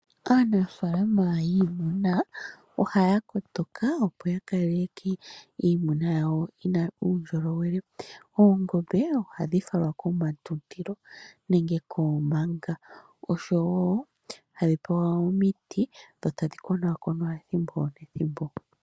Aanafalama yiimuna ohaya kotoka opo ya kaleke iimuna yawo yina uundjolowele. Oongombe ohadhi falwa komatundilo nenge koomanga oshowo hadhi pewa omiti dho tadhi konaakonwa ethimbo nethimbo.